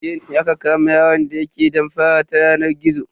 Jiya ne aka kama yaron da yake damfara ta yanar gizo.